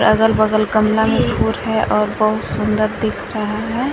अगल बगल गमला में फूल है और बहुत सुंदर दिख रहा है।